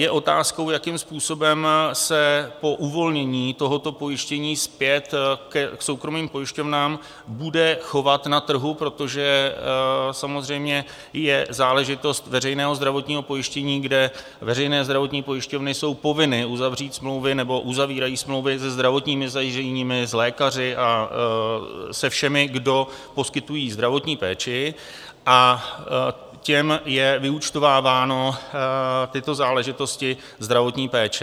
Je otázkou, jakým způsobem se po uvolnění tohoto pojištění zpět k soukromým pojišťovnám bude chovat na trhu, protože samozřejmě je záležitost veřejného zdravotního pojištění, kde veřejné zdravotní pojišťovny jsou povinny uzavřít smlouvy nebo uzavírají smlouvy se zdravotními zařízeními, s lékaři a se všemi, kdo poskytují zdravotní péči, a těm je vyúčtováváno, tyto záležitosti zdravotní péče.